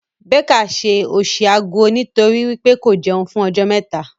Becca ṣe òṣì aguo nitori wípé ko jẹun fún ọjọ́ mẹta.